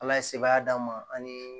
Ala ye sebaaya d'an ma ani